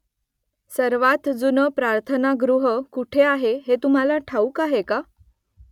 सर्वात जुनं प्रार्थनागृह कुठे आहे हे तुम्हाला ठाऊक आहे का ?